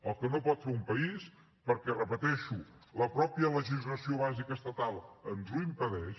el que no pot fer un país perquè ho repeteixo la mateixa legislació bàsica estatal ens ho impedeix